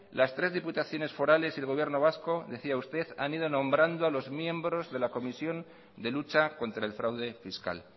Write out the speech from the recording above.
las tres diputaciones forales y el gobierno vasco decía usted han ido nombrando a los miembros de la comisión de lucha contra el fraude fiscal